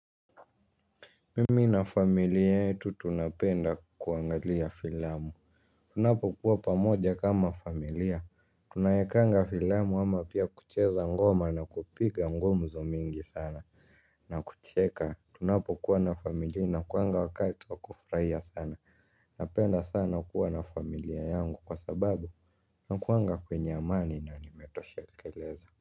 Mimi na familia yetu tunapenda kuangalia filamu. Tunapokuwa pamoja kama familia tunawekanga filamu ama pia kucheza ngoma na kupiga gumzo mingi sana. Na kucheka tunapokuwa na familia inakuwanga wakati wa kufurahia sana. Napenda sana kuwa na familia yangu kwa sababu nakuanga kwenye amani na nimetoshekeleza.